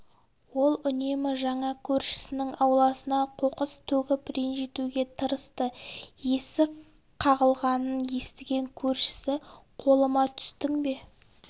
ол үнемі жаңа көршісінің ауласына қоқыс төгіп ренжітуге тырысты есік қағылғанын естіген көршісі қолыма түстің бе